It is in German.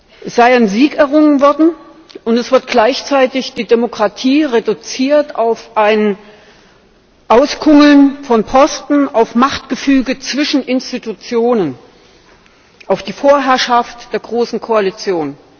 es sei ein Sieg errungen worden, und es wird gleichzeitig die Demokratie reduziert auf ein Auskungeln von Posten, auf Machtgefüge zwischen Institutionen, auf die Vorherrschaft der großen Koalition.